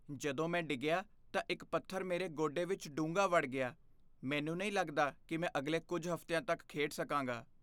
ਜਦੋਂ ਮੈਂ ਡਿੱਗਿਆ ਤਾਂ ਇੱਕ ਪੱਥਰ ਮੇਰੇ ਗੋਡੇ ਵਿੱਚ ਡੂੰਘਾ ਵੜ ਗਿਆ, ਮੈਨੂੰ ਨਹੀਂ ਲੱਗਦਾ ਕਿ ਮੈਂ ਅਗਲੇ ਕੁੱਝ ਹਫ਼ਤਿਆਂ ਤੱਕ ਖੇਡ ਸਕਾਂਗਾ।